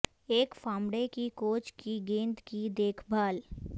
ایک فامڑے کی کوچ کی گیند کی دیکھ بھال